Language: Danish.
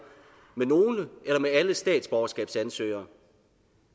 med nogle eller med alle statsborgerskabsansøgere